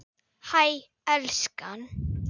Hæ, elskan.